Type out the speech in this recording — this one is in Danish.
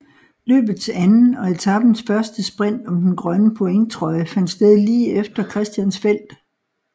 Løbets anden og etapens første sprint om den grønne pointtrøje fandt sted lige efter Christiansfeld